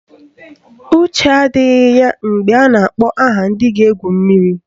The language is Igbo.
Uche ya adịghị ya mgbe a na-akpọ aha ndị ga-egwu mmiri